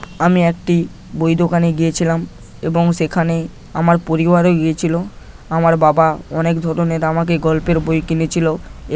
আমি একটি বই দোকানে গিয়েছিলাম এবং সেখানে আমার পরিবারও গিয়েছিল আমার বাবা অনেক ধরনের আমাকে গল্পের বই কিনেছিল।